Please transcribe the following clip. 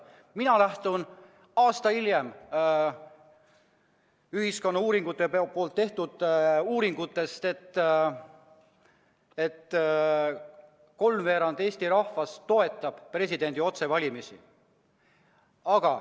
Mina lähtun aasta hiljem Ühiskonnauuringute Instituudi tehtud uuringust, mille kohaselt kolmveerand Eesti rahvast toetab presidendi otsevalimist.